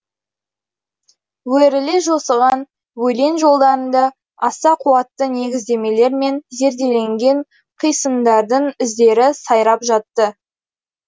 өріле жосыған өлең жолдарында аса қуатты негіздемелер мен зерделенген қисындардың іздері сайрап жатты